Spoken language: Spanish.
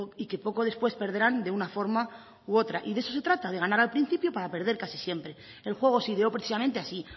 y que poco después perderán de una forma u otra y de eso se trata de ganar al principio para perder casi siempre el juego se ideó precisamente así